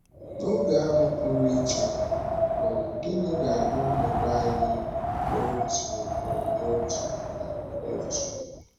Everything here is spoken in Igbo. N’oge ahụ pụrụ iche um, gịnị ga - abụ ọnọdụ anyị n’otu um n’otu? um n’otu?